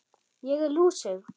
Ég er lúsug.